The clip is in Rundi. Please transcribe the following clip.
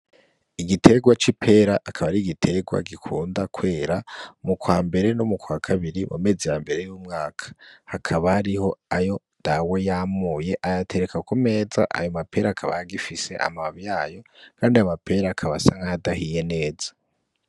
Igiterwa c'i pera akaba ari igiterwa gikunda kwera mu kwa mbere no mu kwa kabiri mu meze ya mbere y'umwaka, hakaba hariho ayo ndawe yamuye ayatereka ku meza ayo mapera akaba ayagifise amababo yayo, kandi amapera akabasankayadahiye neza.